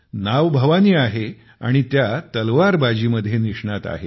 नाव भवानी आहे आणि त्या तलवारबाजी मध्ये निष्णात आहेत